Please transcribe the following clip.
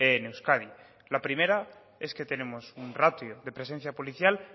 en euskadi la primera es que tenemos un ratio de presencia policial